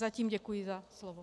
Zatím děkuji za slovo.